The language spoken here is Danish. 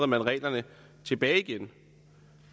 man reglerne tilbage igen